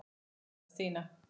sagði Stína.